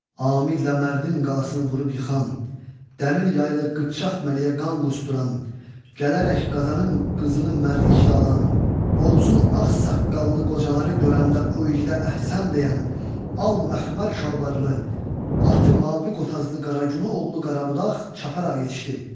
Amidlə Mərdin qalasını vurub yıxan, dəmir yaylı qıpçaq məliyə qan qusduran, gələrək Qazanın qızını mərdliklə alan, Oğuzun ağsaqqallı qocaları görəndə o igidə əhsən deyən, al məxmər şalvarlı, atı mavi qotazlı Qaragünə oğlu Qarabudaq çaparaq yetişdi.